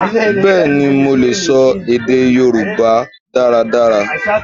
Bẹẹni, mo lè sọ èdè Yorùbá dáradára.